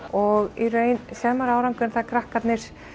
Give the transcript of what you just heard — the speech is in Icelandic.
og í raun sér maður árangur þegar krakkarnir